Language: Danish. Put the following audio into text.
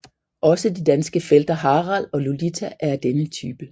Også de danske felter Harald og Lulita er af denne type